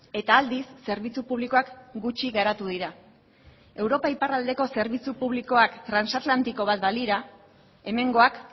eta aldiz zerbitzu publikoak gutxi garatu dira europa iparraldeko zerbitzu publikoak transatlantiko bat balira hemengoak